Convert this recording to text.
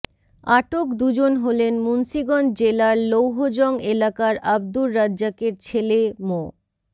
আটক দুজন হলেন মুন্সীগঞ্জ জেলার লৌহজং এলাকার আব্দুর রাজ্জাকের ছেলে মো